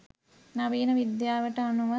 නවීන විද්‍යාවට අනුව